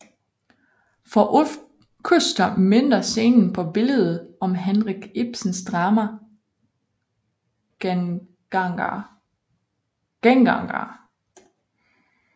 For Ulf Küster minder scenen på billedet om Henrik Ibsens drama Gengangere